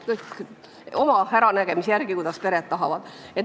Kõik see käib oma äranägemise järgi, kuidas pered tahavad.